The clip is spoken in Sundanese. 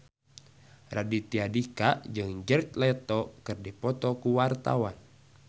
Raditya Dika jeung Jared Leto keur dipoto ku wartawan